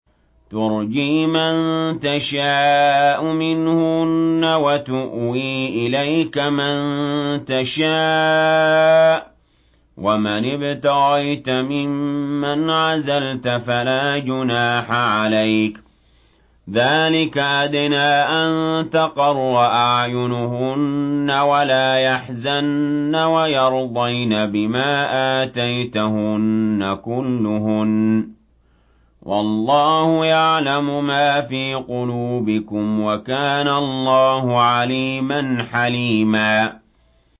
۞ تُرْجِي مَن تَشَاءُ مِنْهُنَّ وَتُؤْوِي إِلَيْكَ مَن تَشَاءُ ۖ وَمَنِ ابْتَغَيْتَ مِمَّنْ عَزَلْتَ فَلَا جُنَاحَ عَلَيْكَ ۚ ذَٰلِكَ أَدْنَىٰ أَن تَقَرَّ أَعْيُنُهُنَّ وَلَا يَحْزَنَّ وَيَرْضَيْنَ بِمَا آتَيْتَهُنَّ كُلُّهُنَّ ۚ وَاللَّهُ يَعْلَمُ مَا فِي قُلُوبِكُمْ ۚ وَكَانَ اللَّهُ عَلِيمًا حَلِيمًا